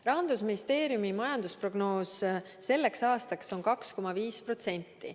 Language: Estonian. " Rahandusministeeriumi majandusprognoos selleks aastaks on 2,5%.